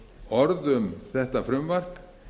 orð um þetta frumvarp